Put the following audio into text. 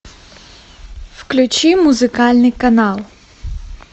включи музыкальный канал